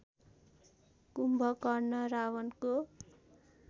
Kumbhakarna रावणको